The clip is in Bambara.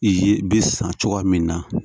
I ye bi san cogoya min na